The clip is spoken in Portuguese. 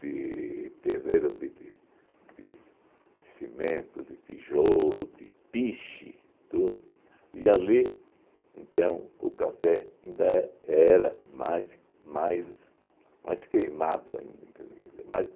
de terreiro de tin de cimento, de tijolo, de piche, tudo, e ali então o café ainda era mais mais mais queimado ainda, mas